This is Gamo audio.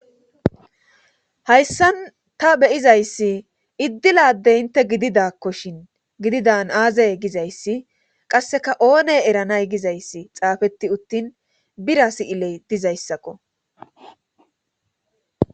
hayssan ta beyizayssi iddilade inte gididakkoshin gididan aazay gizayssi qasseka oone eranay gizayssi xaafetti uttin bira si7iley dizayssakko